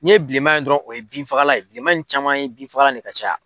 N'i ye bilenma ye dɔrɔnw o ye bin fagalan ye, bilenman in caman ye bin fagalan de ka caya.